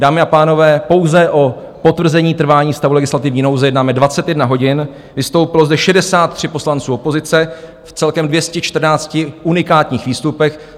Dámy a pánové, pouze o potvrzení trvání stavu legislativní nouze jednáme 21 hodin, vystoupilo zde 63 poslanců opozice v celkem 214 unikátních výstupech.